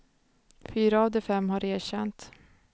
Fyra av de fem har erkänt.